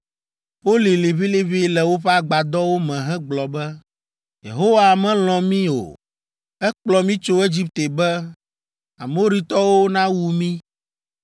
Wolĩ liʋĩliʋĩ le woƒe agbadɔwo me hegblɔ be, “Yehowa melɔ̃ mí o; ekplɔ mí tso Egipte be Amoritɔwo nawu mí.